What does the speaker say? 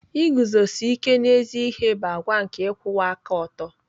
Iguzosi ike n'ezi ihe bụ àgwà nke ịkwụwa aka ọtọ.